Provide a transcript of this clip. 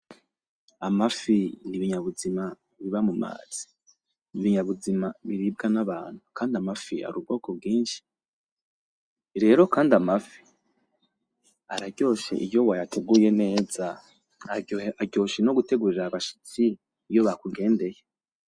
Amafi n’ibinyabuzima biba mu mazi. N’ibinyabuzima biribwa n’abantu kandi amafi ari ubwoko bwinshi, rero kandi amafi araryoshe iyo wayateguye neza, aryoshe no gutegurira abashitsi iyo bakugendeye.